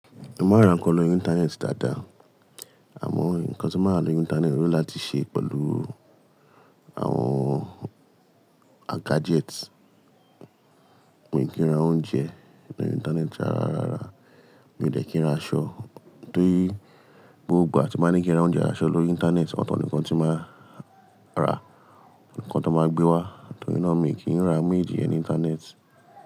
Mo máa ń rà ń kan lórí Íńtánẹ́ẹ̀tì dáadáa, àmọ́ ǹkan tí máa rà lórí Íńtánẹ́ẹ̀tì ni láti ṣe pẹ̀lú àwọn a gadgets. Mi o kìí ra oúnjẹ lórí Íńtánẹ́ẹ̀tì ara ara, mi ò dẹ̀ kí n ra aṣọ, torí gbogbo ìgbà tí mo ní kí n ra oúnjẹ, abi aṣọ lórí Íńtánẹ́ẹ̀tì, ọ̀tọ̀ nìkan tí máa ra ǹkan tó máa gbé wá, torí náà mi kì í ra méjì ẹni Íńtánẹ́ẹ̀tì.